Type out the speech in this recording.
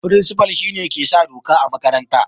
Firinsifa shine ke sa doka a makaranta